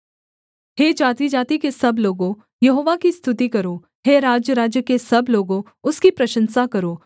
हे जातिजाति के सब लोगों यहोवा की स्तुति करो हे राज्यराज्य के सब लोगों उसकी प्रशंसा करो